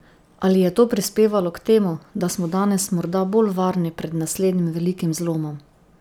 Ali je to prispevalo k temu, da smo danes morda bolj varni pred naslednjim velikim zlomom?